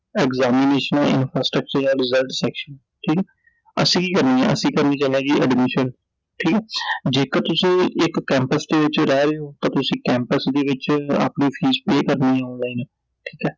examination ਐ Infrastructure ਐ Result section ਠੀਕ ਐ I ਅਸੀਂ ਕੀ ਕਰਨੀ ਐ ਅਸੀਂ ਕਰਨ ਚੱਲੇ ਜੀ Admission ਠੀਕ ਐ I ਜੇਕਰ ਤੁਸੀਂ ਇਕ Campus ਦੇ ਵਿਚ ਰਹਿ ਰਹੇ ਓ ਤਾਂ ਤੁਸੀਂ Campus ਦੇ ਵਿਚ ਆਪਣੀ ਫੀਸ Pay ਕਰਨੀ ਐ Online ਠੀਕ ਐ